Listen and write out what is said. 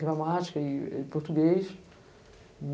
gramática e e português.